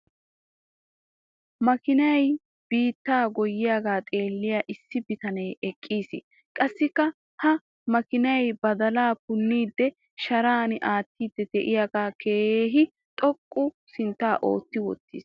makiinay biittaa goyiyaagaa xeeliya issi biyanee eqqiis. qassikka ha makiinay badalaa punnidi sharan attiidi diyaagee keehi xoqqu sintaa ootti wotiis.